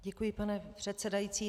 Děkuji, pane předsedající.